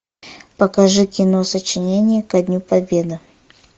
покажи кино сочинение ко дню победы